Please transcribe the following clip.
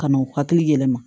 Ka n'u hakili yɛlɛma